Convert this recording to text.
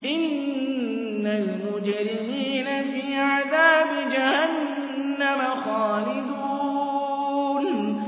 إِنَّ الْمُجْرِمِينَ فِي عَذَابِ جَهَنَّمَ خَالِدُونَ